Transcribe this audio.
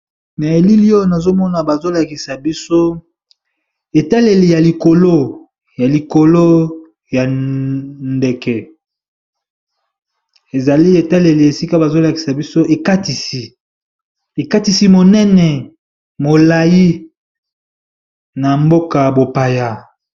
Na elili oyo nazomona ba zolakisa biso etaleli ya likolo ya likolo ya ndeke ezali etaleli esika bazolakisa biso ekatisi monene molai na mboka ya mopaya.